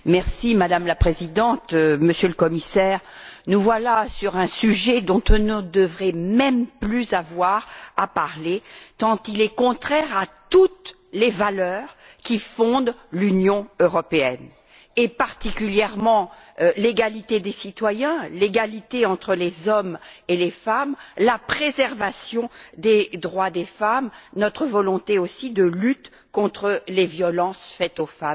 Madame la Présidente, Monsieur le Commissaire, nous voilà sur un sujet dont nous ne devrions même plus avoir à parler tant il est contraire à toutes les valeurs qui fondent l'Union européenne et, particulièrement, à l'égalité des citoyens, à l'égalité entre les hommes et les femmes et à la préservation des droits des femmes, ainsi qu'à notre volonté de lutte contre les violences faites aux femmes.